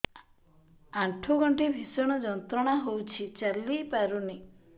ଆଣ୍ଠୁ ଗଣ୍ଠି ଭିଷଣ ଯନ୍ତ୍ରଣା ହଉଛି ଚାଲି ପାରୁନି